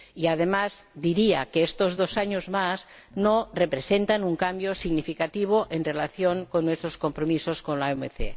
Además, diría que estos dos años más no representan un cambio significativo en relación con nuestros compromisos con la OMC.